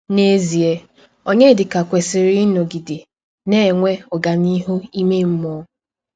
N’ezie, Ọnyedika kwesịrị ịnọgide na - enwe ọganihu ime mmụọ.